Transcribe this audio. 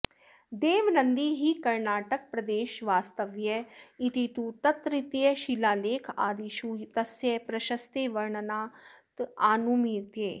देवनन्दी हि कर्णाटकप्रदेशवास्तव्य इति तु तत्रत्यंशिलालेखादिषु तस्य प्रशस्तेर्वर्णनादनुमीयते